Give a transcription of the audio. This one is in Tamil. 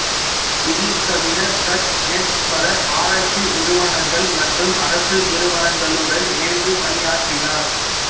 இது தவிர கஸ்நெட்ஸ் பல ஆராய்ச்சி நிறுவனங்கள் மற்றும் அரசு நிறுவனங்களுடன் இணைந்து பணியாற்றினார்